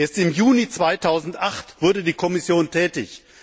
Erst im Juni 2008 wurde die Kommission tätig.